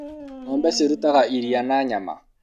ngombe cirutaga iria na nyama